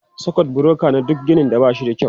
Sakut bureka na duk ginin ba shi da kyau.